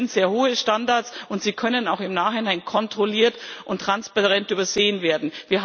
Das sind sehr hohe Standards, und sie können auch im Nachhinein kontrolliert und transparent übersehen werden.